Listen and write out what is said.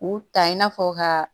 U ta in n'a fɔ ka